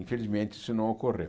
Infelizmente, isso não ocorreu.